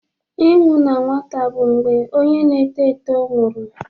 Ịnwụ n'nwata bụ mgbe onye na-eto eto nwụrụ.